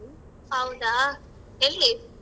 ಹೌದಾ ಎಲ್ಲಿ?